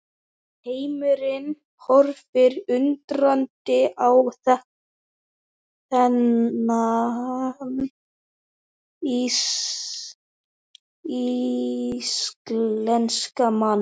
Heimurinn horfði undrandi á þennan íslenska mann.